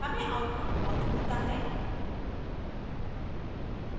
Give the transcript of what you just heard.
हमें output false मिलता है